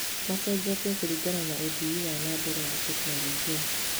Macenjetie kũringana na ũthii wa na mbere wa tekinoronjĩ.